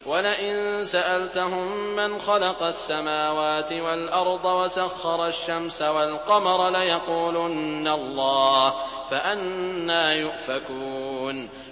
وَلَئِن سَأَلْتَهُم مَّنْ خَلَقَ السَّمَاوَاتِ وَالْأَرْضَ وَسَخَّرَ الشَّمْسَ وَالْقَمَرَ لَيَقُولُنَّ اللَّهُ ۖ فَأَنَّىٰ يُؤْفَكُونَ